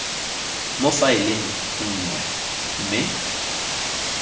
mo faeleng e nngwe mme